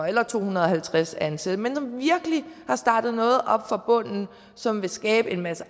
eller to hundrede og halvtreds ansatte men de har virkelig startet noget op fra bunden som vil skabe en masse